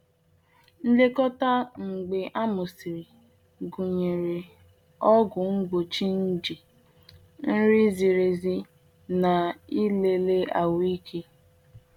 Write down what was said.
Nlekọta mgbe a mụsịrị gụnyere ọgwụ mgbochi nje, nri ziri ezi, na ịlele ahụike.